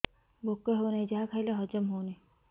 ଭୋକ ହେଉନାହିଁ ଯାହା ଖାଇଲେ ହଜମ ହଉନି